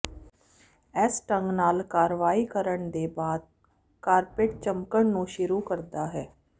ਇਸ ਢੰਗ ਨਾਲ ਕਾਰਵਾਈ ਕਰਨ ਦੇ ਬਾਅਦ ਕਾਰਪਟ ਚਮਕਣ ਨੂੰ ਸ਼ੁਰੂ ਕਰਦਾ ਹੈ